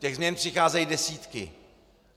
Těch změn přicházejí desítky.